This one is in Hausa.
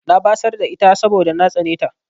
Na batsar da ita saboda na tsane ta.